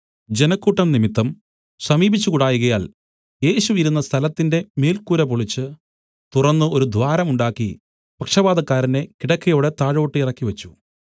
ജനക്കൂട്ടം നിമിത്തം സമീപിച്ചുകൂടായ്കയാൽ യേശു ഇരുന്ന സ്ഥലത്തിന്റെ മേൽക്കൂര പൊളിച്ച് തുറന്നു ഒരു ദ്വാരം ഉണ്ടാക്കി പക്ഷവാതക്കാരനെ കിടക്കയോടെ താഴോട്ടിറക്കി വെച്ച്